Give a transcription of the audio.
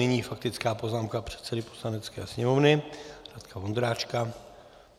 Nyní faktická poznámka předsedy Poslanecké sněmovny Radka Vondráčka.